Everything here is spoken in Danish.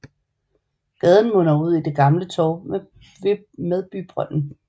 Gaden munder ud i det gamle torv med bybrønden